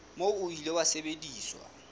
moo o ile wa sebediswa